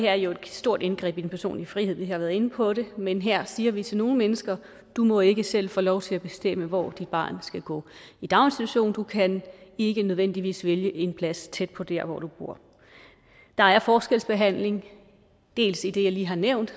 er jo et stort indgreb i den personlige frihed vi har været inde på det men her siger vi til nogle mennesker at du må ikke selv få lov til at bestemme hvor dit barn skal gå i daginstitution du kan ikke nødvendigvis vælge en plads tæt på der hvor du bor der er forskelsbehandling dels i det jeg lige har nævnt